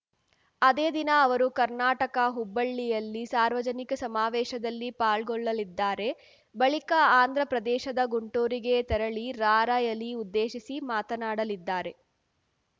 ಅದೇ ದಿನ ಅವರು ಕರ್ನಾಟಕ ಹುಬ್ಬಳ್ಳಿಯಲ್ಲಿ ಸಾರ್ವಜನಿಕ ಸಮಾವೇಶದಲ್ಲಿ ಪಾಲ್ಗೊಳ್ಳಲಿದ್ದಾರೆ ಬಳಿಕ ಆಂಧ್ರ ಪ್ರದೇಶದ ಗುಂಟೂರಿಗೆ ತೆರಳಿ ರಾರ‍ಯಲಿ ಉದ್ದೇಶಿಸಿ ಮಾತನಾಡಲಿದ್ದಾರೆ